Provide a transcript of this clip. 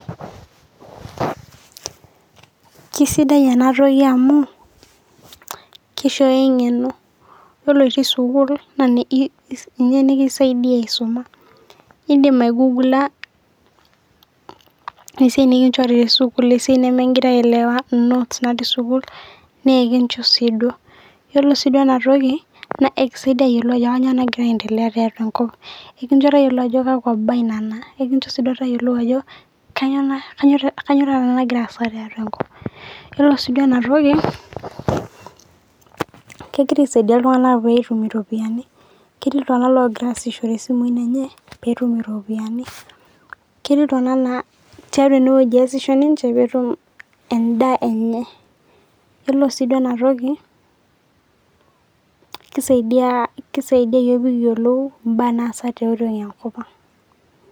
Kisidai ena toki amu, keisooyo eng'eno, yiolo oshi sukuul, ninye nikisaidia aisoma, indim aigugula esiai nikinchori te sukuul esiai nemeigira aelewa, inotes natii sukuul na kincho sii duo. Yiolo sii duo ena toki, naa ekisaidia ayolou ajo nyoo nagira aendelea tiatua enkop, e kincho tayiolu ajo kakwa baa nena, ekincho sii tayiolou ajo kanyo kanyoo duo taata nagira aasa tiatua enkop, yiolo sii duo ena toki, kegira aisaidia iltung'ana peetum iropiani, ketii iltung'ana ogira aasishore isimui enye, peetum iropiani, ketii iltung'ana naa tiatua ene wueji easisho ninche, peetum endaa enye. Iyiolo sii duo ena toki, keisaidia keisaidia iyook pee kiyolou imbaa naata tiatua enkop ang.